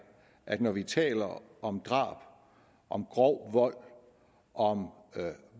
at når vi taler om drab om grov vold og om